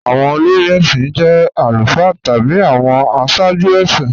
Awọn olórí èṣin jẹ̀ alufáà tabi awọn àṣààjú èṣin